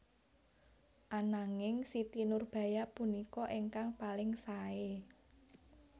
Ananging Siti Nurbaya punika ingkang paling saé